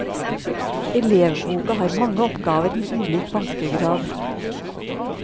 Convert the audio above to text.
Elevboka har mange oppgaver med ulik vanskegrad.